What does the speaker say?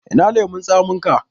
Ina lemon tsaminka?